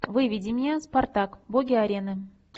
выведи мне спартак боги арены